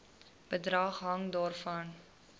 bedrag hang daarvan